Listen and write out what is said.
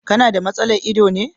Ka na da matsalar ido ne.